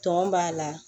Tɔn b'a la